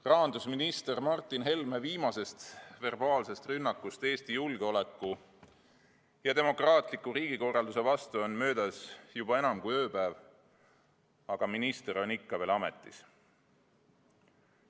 Rahandusminister Martin Helme viimasest verbaalsest rünnakust Eesti julgeoleku ja demokraatliku riigikorralduse vastu on möödas juba enam kui ööpäev, aga minister on ikka veel ametis.